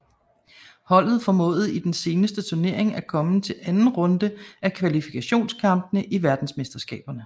Holdet formåede i den seneste turnering at komme til anden runde af kvalifikationskampene til verdensmesterskaberne